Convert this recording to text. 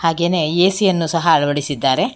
ಹಾಗೇನೆ ಎ_ಸಿ ಯನ್ನು ಸಹ ಅಳವಡಿಸಿದ್ದಾರೆ.